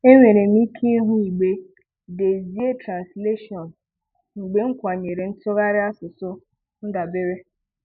Enwere m ike ịhụ igbe “Dezie Translation,” mgbe m “Kwànyèrè ntụgharị asụsụ ndàbèré